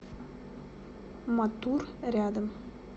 матур рядом